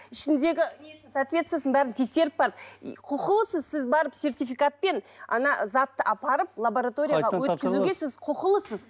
ішіндегі соотвествосын бәрін тексеріп барып құқылысыз сіз барып серитификатпен затты апарып лабораторияға өткізуге сіз құқылысыз